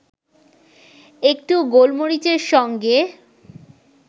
একটু গোলমরিচের সঙ্গে